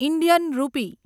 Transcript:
Indian રૂપી